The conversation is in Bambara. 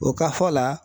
O ka fɔ la